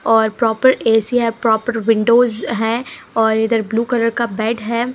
और proper AC हे proper windows हैं और इधर ब्लू कलर का बेड हैं।